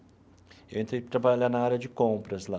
Eu entrei para trabalhar na área de compras lá.